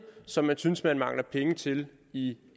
som man synes man mangler penge til i